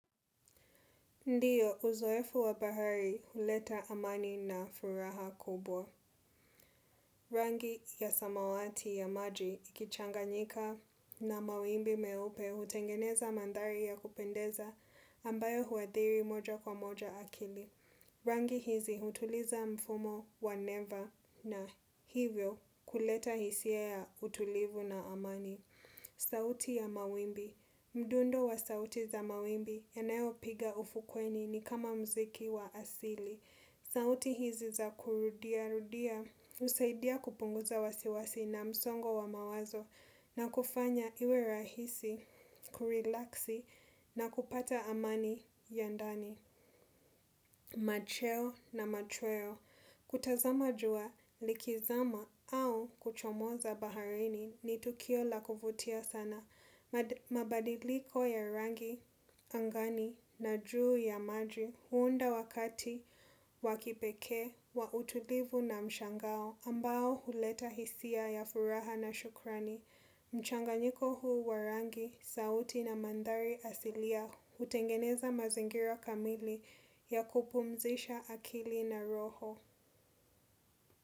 Ndiyo, uzoefu wa bahari huleta amani na furaha kubwa. Rangi ya samawati ya maji ikichanganyika na mawimbi meupe hutengeneza mandhari ya kupendeza ambayo huathiri moja kwa moja akili. Rangi hizi hutuliza mfumo wa neva na hivyo kuleta hisia ya utulivu na amani. Sauti ya mawimbi. Mdundo wa sauti za mawimbi yanayopiga ufukweni ni kama mziki wa asili. Sauti hizi za kurudia rudia, husaidia kupunguza wasiwasi na msongo wa mawazo na kufanya iwe rahisi, kurilaksi na kupata amani ya ndani. Macheo na machweo. Kutazama jua likizama au kuchomoza baharini ni tukio la kuvutia sana. Mabadiliko ya rangi angani na juu ya maji huunda wakati wa kipekee wa utulivu na mshangao ambao huleta hisia ya furaha na shukrani. Mchanganyiko huu wa rangi, sauti na mandhari asilia hutengeneza mazingira kamili ya kupumzisha akili na roho.